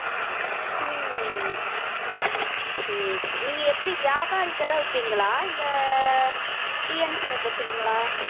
உம் சரி சரி நீங்க எப்படி வியாபாரிட்டதான் விப்பீங்களா இல்ல TNC ல போட்டுருவீங்களா